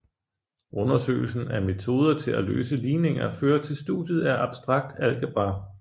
Undersøgelsen af metoder til at løse ligninger fører til studiet af abstrakt algebra